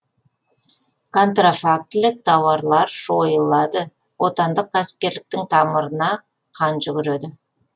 контрафактілік тауарлар жойылады отандық кәсіпкерліктің тамырына қан жүгіреді